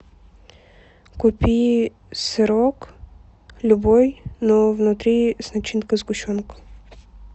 купи сырок любой но внутри с начинкой сгущенка